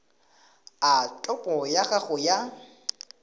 a topo ya gago ya